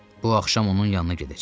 Bu axşam onun yanına gedəcəm.